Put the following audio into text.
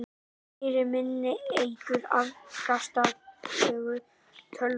Meira minni eykur afkastagetu tölva.